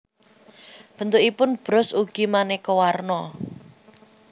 Bentukipun bros ugi manéka warna